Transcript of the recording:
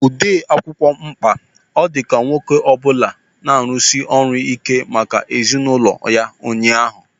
Onye odee akwụkwọ mkpa ọ dị ka nwoke ọ bụla na-arụsi ọrụ ike maka ezinụlọ ya ụnyaahụ.